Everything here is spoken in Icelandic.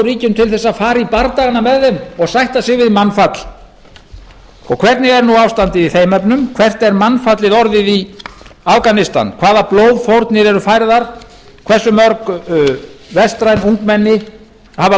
ríkjum til þess að fara í bardagana með þeim og sætta sig við mannfall og hvernig er nú ástandið í þeim efnum hvert er mannfallið orðið í afganistan hvaða blóðfórnir eru færðar hversu mörg vestræn ungmenni hafa